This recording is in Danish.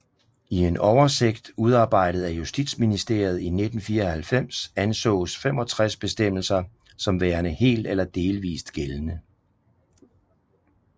I en oversigt udarbejdet af Justitsministeriet i 1994 ansås 65 bestemmelser som værende helt eller delvist gældende